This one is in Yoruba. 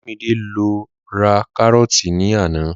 Olúmidé lọ ra kárọ́ọ̀tì ní àná